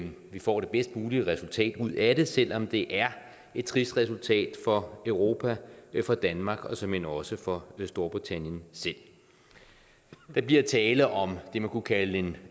vi får det bedst mulige resultat ud af det selv om det er et trist resultat for europa for danmark og såmænd også for storbritannien selv der bliver tale om det man kunne kalde en